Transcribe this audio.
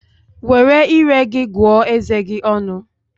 Were ire gị gụọ eze gi ọnụ